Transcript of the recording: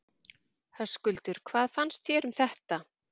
Höskuldur: Hvað fannst þér um þetta?